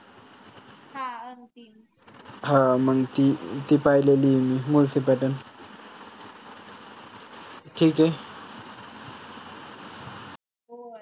हां मंग ती ती पाहिलेली आय मी मुळशी pattern ठीक आय.